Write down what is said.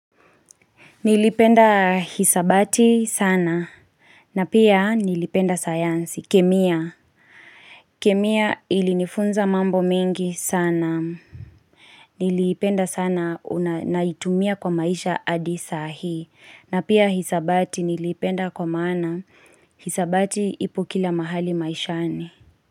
Nilipenda hisabati sana na pia nilipenda sayansi kemia kemia ilinifunza mambo mengi sana Nilipenda sana naitumia kwa maisha adi saa hii na pia hisabati nilipenda kwa maana hisabati ipo kila mahali maishani.